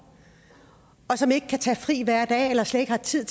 og som ikke kan tage fri hver dag eller slet ikke har tid